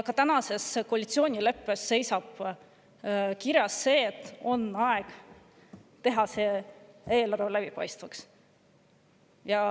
Ka koalitsioonileppes on kirjas, et on aeg teha eelarve läbipaistvaks.